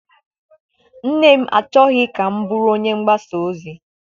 Nne m achọghị ka m bụrụ onye mgbasa ozi.